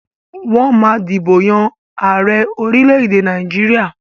Wọ́n ma ń dìbò yàn ààrẹ orílẹ̀-èdè Nàìjíríà